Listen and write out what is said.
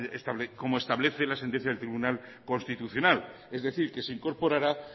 como establece la sentencia del tribunal constitucional es decir que se incorporará